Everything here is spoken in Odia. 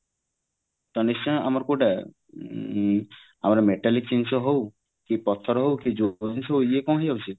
ତା ନିଶ୍ଚୟ ଆମର କୋଉଟା ଆମର metallic ଜିନିଷ ହୋଉ କି ପଥର ହୋଉ କି ଯୋଉ ଇଏ କଣ ହେଇଯାଉଛି